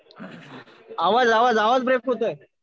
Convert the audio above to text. आवाज आवाज ब्रेक होतोय.